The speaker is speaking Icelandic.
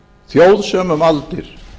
þjóð sem um aldir